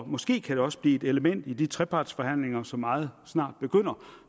måske kan det også blive et element i de trepartsforhandlinger som meget snart begynder